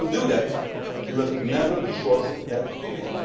If you do not do that, you will never shorten that period.